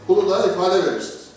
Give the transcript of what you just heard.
Pulu da ifadə vermisiniz.